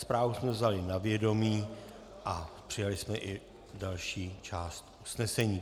Zprávu jsme vzali na vědomí a přijali jsme i další část usnesení.